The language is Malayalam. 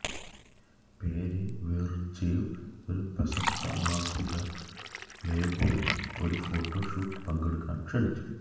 പെരെവെര്ജെവ് ഒരു പ്രശസ്ത മാസിക പ്ലേബോയ് ഒരു ഫോട്ടോ ഷൂട്ട് പങ്കെടുക്കാൻ ക്ഷണിച്ചു